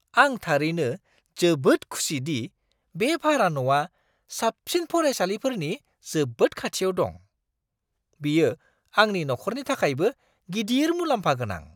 आं थारैनो जोबोद खुसि दि बे भारा न'आ साबसिन फरायसालिफोरनि जोबोद खाथियाव दं। बियो आंनि नखरनि थाखायबो गिदिर मुलाम्फागोनां!